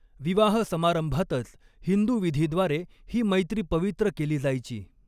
विवाह समारंभातच हिंदू विधीद्वारे ही मैत्री पवित्र केली जायची.